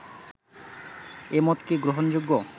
এ মত কি গ্রহণযোগ্য